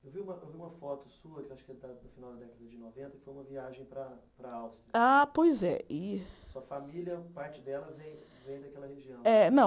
Eu vi uma eu vi uma foto sua, que acho que está no final da década de noventa, que foi uma viagem para a para a Áustria. Ah pois é e Sua família parte dela vem vem daquela região É não